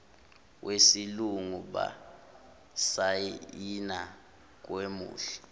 wesilungu basayina kwamuhle